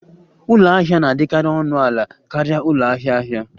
Ụlọ ahịa na-adịkarị ọnụ ala karịa ụlọ ahịa ahịa